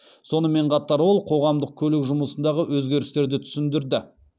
сонымен қатар ол қоғамдық көлік жұмысындағы өзгерістерді түсіндірді